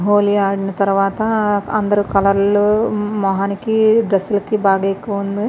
హోలీ ఆడిన తరవాత అందరు కలర్లు మొహానికి డ్రెస్ లకి బాగా ఎక్కువ ఉంది.